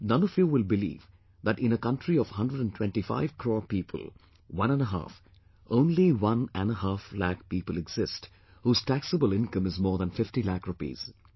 None of you will believe that in a country of 125 crore people, one and a half, only one and a half lakh people exist, whose taxable income is more than 50 lakh rupees